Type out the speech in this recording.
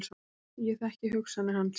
Ég þekki hugsanir hans.